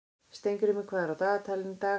Steingrímur, hvað er á dagatalinu í dag?